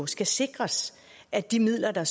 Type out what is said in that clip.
skal sikres at de midler der